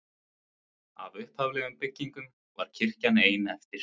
Af upphaflegum byggingum var kirkjan ein eftir.